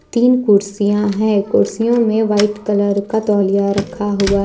तीन कुर्सियां हैं कुर्सियों में वाइट कलर का तौलिया रखा हुआ है।